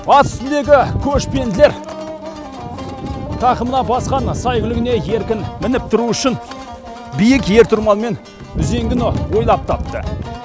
ат үстіндегі көшпенділер тақымына басқан сәйгүлігіне еркін мініп тұруы үшін биік ер тұрман мен үзеңгіні ойлап тапты